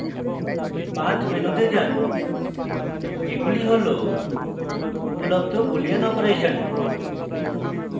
path মেনুতে যান এগুলি হল উপলব্ধ boolean অপারেশন